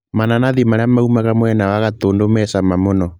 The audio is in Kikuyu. Mananathĩ marĩa maumaga mwena wa gatũndũ mecama mũno.